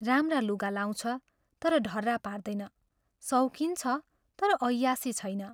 राम्रा लुगा लाउँछ तर ढर्रा पार्दैन शौकिन छ तर ऐयाशी छैन।